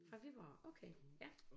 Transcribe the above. Fra Viborg okay ja